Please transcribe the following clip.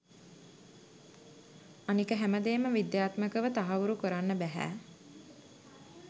අනික හැමදේම විද්‍යාත්මකව තහවුරු කරන්න බැහැ.